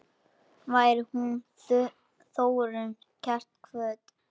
Veri hún Þórunn kært kvödd.